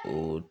O